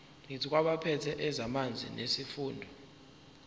kwabaphethe ezamanzi nesifunda